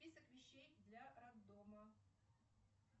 список вещей для роддома